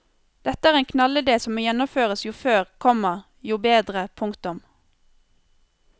Dette er en knallidé som må gjennomføres jo før, komma jo bedre. punktum